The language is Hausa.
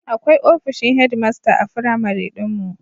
Akwai ofishin hedmasta a firamare ɗin mu.